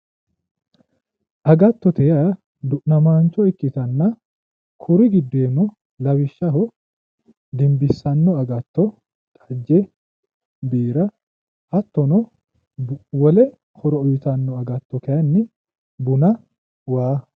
Agattote yaa du'namaancho ikkitanna kuri giddooyino lawishshaho, dinbissanno agatto xajje, biira hattono, wole horo uytanno agatto kayiinni buna waa